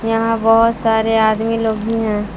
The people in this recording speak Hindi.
यहां बहोत सारे आदमी लोग भी हैं।